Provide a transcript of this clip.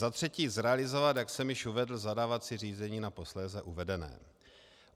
Za třetí zrealizovat, jak jsem již uvedl, zadávací řízení na posléze uvedené.